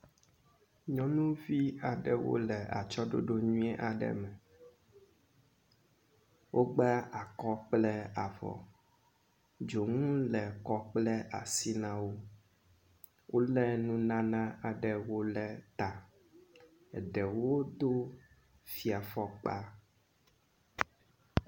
Nyɔnuvi aɖewo le atsyɔɖoɖo nyuie aɖe me. Wogba akɔ kple avɔ. Dzonu le kɔ kple asi na wo. Wolé nunana aɖewo ɖe ta. Eɖewo do fiafɔkpa.